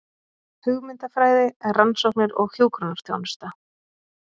Hugmyndafræði, rannsóknir og hjúkrunarþjónusta.